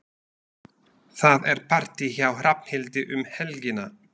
Það er partí hjá Hrafnhildi um helgina.